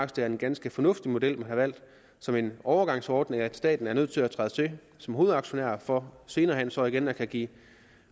det er en ganske fornuftig model man har valgt som en overgangsordning nemlig at staten er nødt til at træde til som hovedaktionær for senere hen så igen at kunne give